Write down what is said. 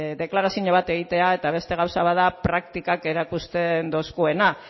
deklarazio bat egitea eta beste gauza bat da praktikak erakusten doskuena